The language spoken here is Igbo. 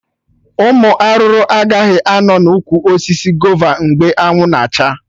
Ụmụ arụrụ agaghị anọ na ụkwụ osisi gova mgbe anwụ na acha